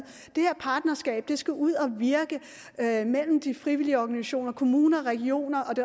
det her partnerskab skal ud at virke mellem de frivillige organisationer kommuner og regioner